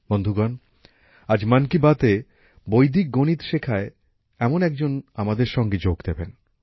বন্ধুগণ আজ মন কি বাতে বৈদিক গণিত শেখায় এমন এক জন আমাদের সাথে যোগ দেবেন